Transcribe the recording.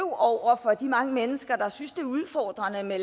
over for de mange mennesker der synes det er udfordrende med